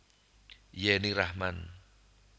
Yenny Rachman